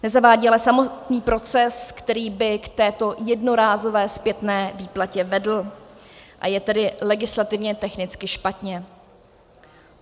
Nezavádí ale samotný proces, který by k této jednorázové zpětné výplatě vedl, a je tedy legislativně technicky špatně.